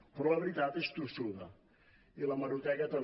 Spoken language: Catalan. però la veritat és tossuda i l’hemeroteca també